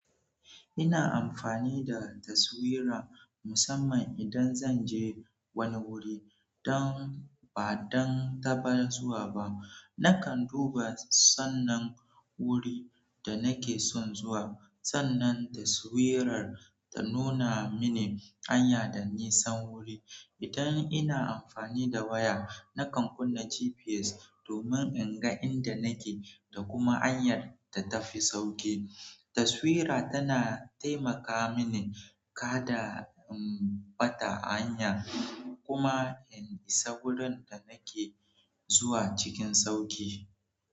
Ina amfani da taswira musamman idan zan je wani wuri don ba don bana zuwa ba. Nakan duba sannan wuri da nake son zuwa sannan taswirar ta nuna mini hanya da nisan wuri idan ina amfani da waya nakan kunna GPS domin in ga inda nake da kuma hanyar da tafi sauƙi. Taswira tana taimaka mini kada in ɓata hanya kuma in isa wurin da nake zuwa cikin sauƙi.